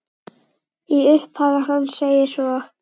Í upphafi hans segir svo